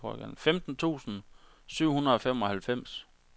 femten tusind syv hundrede og femoghalvfems